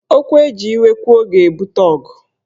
Okwu eji iwe kwuo ga-ebute ọgụ